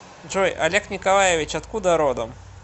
джой олег николаевич откуда родом